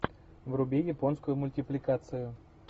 вруби японскую мультипликацию